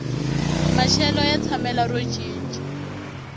maxelo ya tshamela ro cinca